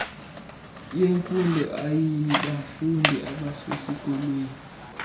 yemfundo aybafundi abasesikolweni